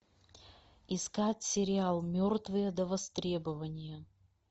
искать сериал мертвые до востребования